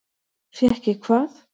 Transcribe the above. Fékk ég hvað?